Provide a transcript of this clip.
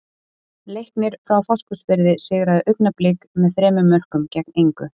Leiknir frá Fáskrúðsfirði sigraði Augnablik með þremur mörkum gegn engu.